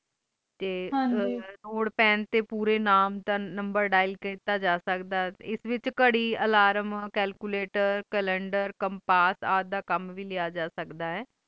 ਤੇ ਪੇਂ ਤੇ ਪੋਰੇ ਨਾਮ ਦਾ ਨੰਬਰ dial ਕੀਤਾ ਜਾ ਸਕਦਾ ਆਏ ਐਡੇ ਵਿਚ ਘਰਿ, ਅਲਾਰਮ, ਕੈਲਕੁਲੇਟਰ, ਕੈਪਸ, ਰ ਦਾ ਕਾਮ ਵੇ ਲਿਆ ਜਾ ਸਕਦਾ ਆਏ